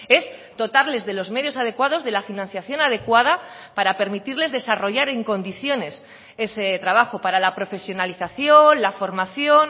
es dotarles de los medios adecuados de la financiación adecuada para permitirles desarrollar en condiciones ese trabajo para la profesionalización la formación